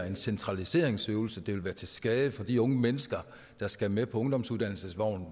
en centraliseringsøvelse det ville være til skade for de unge mennesker der skal med på ungdomsuddannelsensvognen og